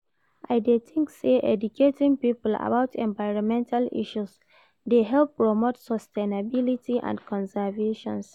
I dey think say educating people about environmental issues dey help promote sustainability and conservation.